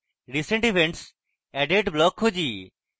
recent events added block খুঁজি